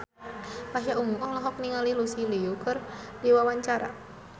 Pasha Ungu olohok ningali Lucy Liu keur diwawancara